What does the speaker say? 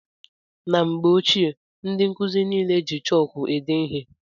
Na mgbe ochie ndị nkụzi niile jị chọọku ede ihe.